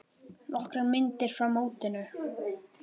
Nokkrar myndir frá mótinu.